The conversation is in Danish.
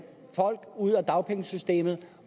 ud af dagpengesystemet